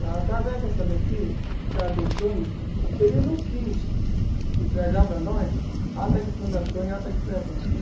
Através dessa daqui, que o cara deu o, ele não quis entregar para nós a ata de fundação e a ata de presença.